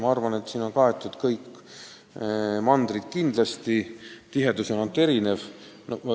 Ma arvan, et siin on kaetud kõik mandrid, ainult tihedus on erinev.